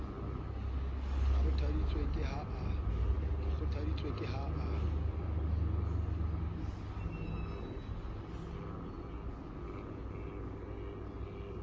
ke kgothaditswe ke ha a